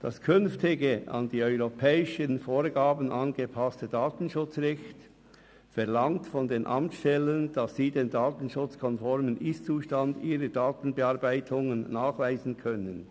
Das künftige, an die europäischen Vorgaben angepasste Datenschutzrecht verlangt von den Amtsstellen, dass sie den datenschutzkonformen Ist-Zustand ihrer Datenbearbeitungen nachweisen können.